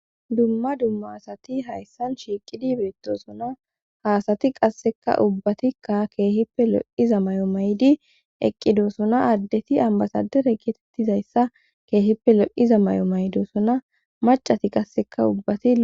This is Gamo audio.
Dumma dumma asati hayssan shiiqidi beettosuna haasati qasseka ubbatikka keehippe lo7iza may7o maydi eqqidosona addeti ambasadere getettizayssa keehippe lo7iza may7o maydosona macati qasseka ubbati